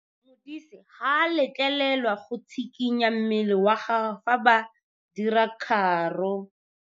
Modise ga a letlelelwa go tshikinya mmele wa gagwe fa ba dira karô.